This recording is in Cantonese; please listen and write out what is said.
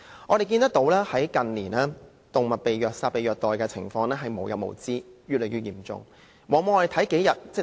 我們看到，近年動物被虐殺、被虐待的情況無日無之，越來越嚴重的。